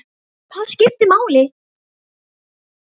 Það skipti máli.